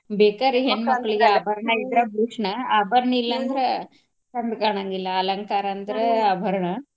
Bakery ಹೆಣ್ಮಕ್ಳಿಗೆ ಆಭರಣ ಇರೋದೆ ಭೂಷಣ ಆಭರಣ ಇಲ್ಲ ಅಂದ್ರ ಚಂದ ಕಾಣಾಂಗಿಲ್ಲಾ ಅಲಂಕಾರ ಅಂದ್ರ ಆಭರಣ.